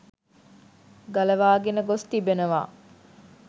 ගලවාගෙන ගොස් තිබෙනවා